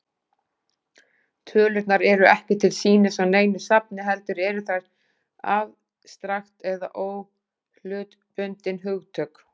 Tölurnar eru ekki til sýnis á neinu safni, heldur eru þær afstrakt eða óhlutbundin hugtök.